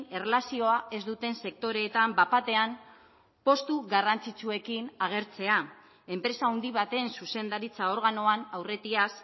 erlazioa ez duten sektoreetan bat batean postu garrantzitsuekin agertzea enpresa handi baten zuzendaritza organoan aurretiaz